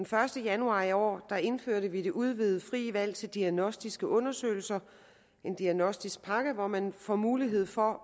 første januar i år indførte vi det udvidede frie valg til diagnostiske undersøgelser en diagnostisk pakke hvor man får mulighed for